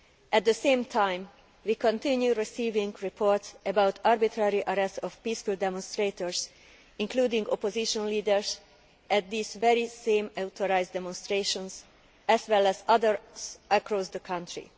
At the same time, we continue to receive reports about arbitrary arrests of peaceful demonstrators, including opposition leaders, at these very same authorised demonstrations, as well as others across the country.